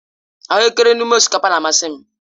Ahuekere n'ime osikapa na-amasị m.